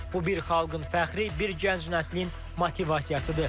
Bu bir xalqın fəxri, bir gənc nəslin motivasiyasıdır.